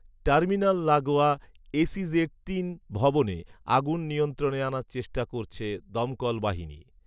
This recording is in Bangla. টার্মিনাল লাগোয়া ‘এসইজেড তিন’ ভবনে আগুন নিয়ন্ত্রণে আনার চেষ্টা করছে দমকল বাহিনী